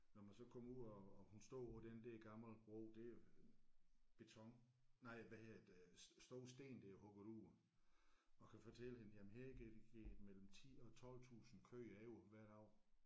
Når man så kommer ud og og hun står på den der gamle bro det er beton nej hvad hedder det store sten der er hugget ud og kan fortælle hende jamen her gik gik mellem 10 og 12 tusind køer over hvert år